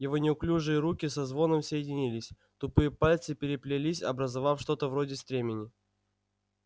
его неуклюжие руки со звоном соединились тупые пальцы переплелись образовав что-то вроде стремени